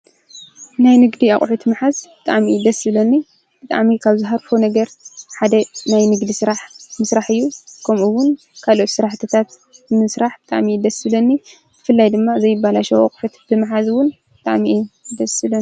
ናይ ንግዲ ኣቁሑ ምሓዝ ብጣዕሚ እዩ ደስ ዝብለኒ። ብጣዕሚ ካብ ዝሃርፎ ነገር ሓደ ናይ ንግዲ ስራሕ ምስራሕ እዩ። ከምኡ እውን ካልኦት ስራሕትታት ንምስራሕ ብጣዕሚ ደስ ይብለኒ። ብፍላይ ድማ ዘይበላሸው ኣቁሑ ምሓዝ እውን ብጣዕሚ እዩ ደስ ዝብለኒ።